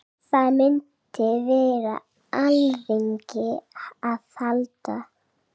Það myndi veita Alþingi aðhald.